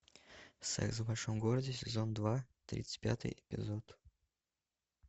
секс в большом городе сезон два тридцать пятый эпизод